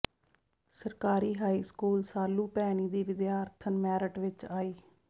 ਸਰਕਾਰੀ high school Salu Bhaini ਦੀ ਵਿਦਿਆਰਥਣ ਮੈਰਿਟ ਵਿਚ ਆਈ